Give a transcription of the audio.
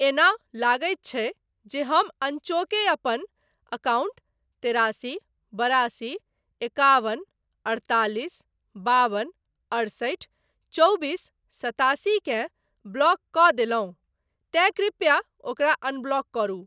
एना लगैत छै जे हम अनचोके अपन अकाउंट तेरासी बेरासी एकाबन अड़तालिस बाबन अठसठि चौबीस सतासी केँ ब्लॉक कऽ देलहुँ तेँ कृपया ओकरा अनब्लॉक करू।